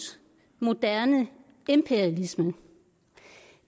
moderne imperialisme